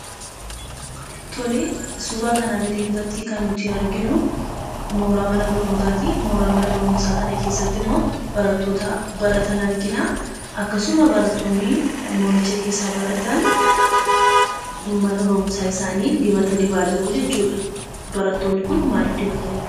Tole, suuraa kanaa gadiirratti kan nuti arginu, mooraa mana barnootaati. Mooraa mana barumsaa kana keessattimmoo barattoota baratan argina. Akkasuma barattoonni mooricha keessaa baratan mana barumsaa isaanii dibata dibaa jiruu jechuudha. Barattoonni kun maaliif dibata dibuu?